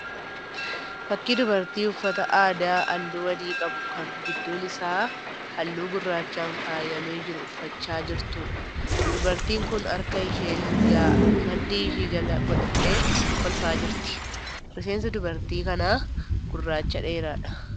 Fakkii dubartii uffata aadaa halluu adii qabu kan gidduun isaa halluu gurraachaan faayyamee jiru uffachaa jirtuudha. Dubartiin kun harka ishee mirgaa maddii ishee jala godhattee kolfaa jirti. Rifeensi dubartii kanaa gurraacha dheeraadha.